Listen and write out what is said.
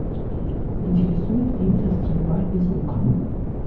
интересует именно стрельба из лука